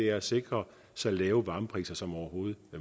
er at sikre så lave varmepriser som overhovedet